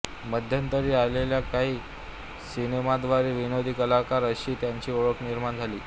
मध्यंतरी आलेल्या काही सिनेमांद्वारे विनोदी कलाकार अशी त्यांची ओळख निर्माण झाली